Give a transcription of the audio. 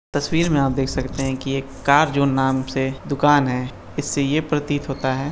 तस्वीर में आप देख सकते है की एक कार जोन नाम से दुकान है इससे ये प्रतीत होता है --